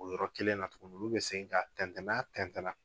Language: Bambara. O yɔrɔ kelen na tuguni olu bɛ segin ka tɛntɛn n'a tɛntɛn na